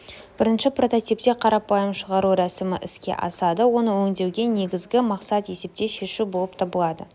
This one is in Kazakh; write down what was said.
бірінші прототипте қарапайым шығару рәсімі іске асады оны өңдеудегі негізгі мақсат есепте шешу болып табылады